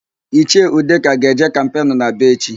Ichie Udeka ga-eje kampenu n'Aba echi.